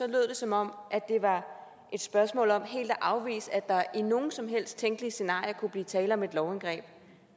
lød det som om det var et spørgsmål om helt at afvise at der i nogen som helst tænkelige scenarier kunne blive tale om et lovindgreb